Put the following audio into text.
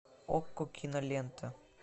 окко кинолента